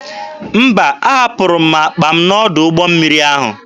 Mba, ahapụrụ m akpa m n'ọdụ ụgbọ mmiri ahụ.